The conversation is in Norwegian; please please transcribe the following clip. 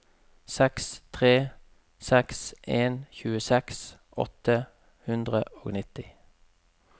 seks tre seks en tjueseks åtte hundre og nitti